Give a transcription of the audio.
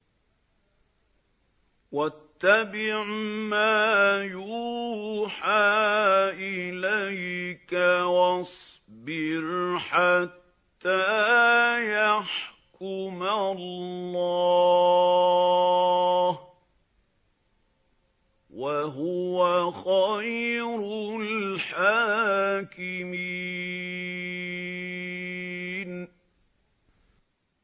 وَاتَّبِعْ مَا يُوحَىٰ إِلَيْكَ وَاصْبِرْ حَتَّىٰ يَحْكُمَ اللَّهُ ۚ وَهُوَ خَيْرُ الْحَاكِمِينَ